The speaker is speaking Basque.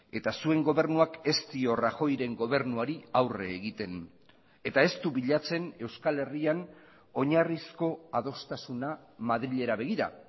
eta zuen gobernuak ez dio rajoyren gobernuari aurre egiten eta ez du bilatzen euskal herrian oinarrizko adostasuna madrilera begira